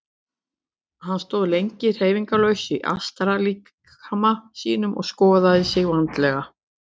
Hann stóð lengi hreyfingarlaus í astrallíkama sínum og skoðaði sig vandlega.